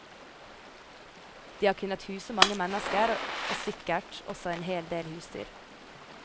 De har kunnet huse mange mennesker og sikkert også en hel del husdyr.